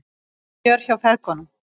Fjör hjá feðgunum